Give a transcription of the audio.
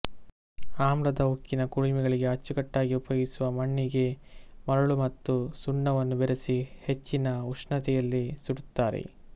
ಆಮ್ಲದ ಉಕ್ಕಿನ ಕುಲುಮೆಗಳಿಗೆ ಅಂಚುಕಟ್ಟಾಗಿ ಉಪಯೋಗಿಸುವ ಮಣ್ಣಿಗೆ ಮರಳು ಮತ್ತು ಸುಣ್ಣವನ್ನು ಬೆರೆಸಿ ಹೆಚ್ಚಿನ ಉಷ್ಣತೆಯಲ್ಲಿ ಸುಡುತ್ತಾರೆ